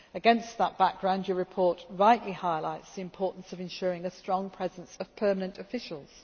Against that background, your report rightly highlights the importance of ensuring a strong presence of permanent officials.